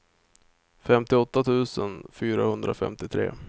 femtioåtta tusen fyrahundrafemtiotre